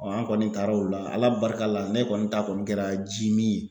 an kɔni taara o la ala barika la ne kɔni ta kɔni kɛra ji min ye